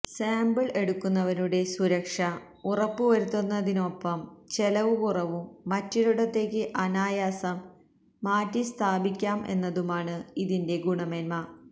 sample എടുക്കുന്നവരുടെ സുരക്ഷ ഉറപ്പുവരുത്തുന്നതിനൊപ്പം ചെലവ് കുറവും മറ്റൊരിടത്തേക്ക് അനായാസം മാറ്റിസ്ഥാപിക്കാം എന്നതുമാണ് ഇതിന്റെ ഗുണമേന്മ